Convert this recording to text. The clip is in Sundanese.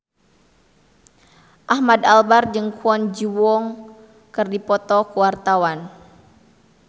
Ahmad Albar jeung Kwon Ji Yong keur dipoto ku wartawan